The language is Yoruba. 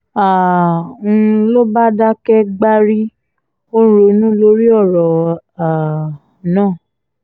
um n ló bá dákẹ́ gbárí ó ń ronú lórí ọ̀rọ̀ um náà